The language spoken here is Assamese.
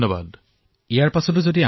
ছচিয়েল মিডিয়াতো ইয়াক জনপ্ৰিয় কৰিব লাগে